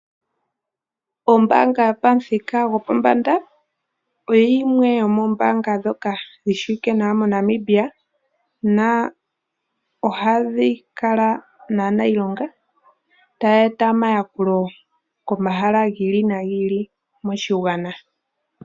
Ombaanga yopamuthika gwopombanda oyo yimwe yomoombaanga ndhoka dhi shiwike moNamibia , ohadhi kala naaniilonga taya eta omayakulo komahala gi ili nogi ili moshigwana.